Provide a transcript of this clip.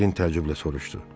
Den təəccüblə soruşdu.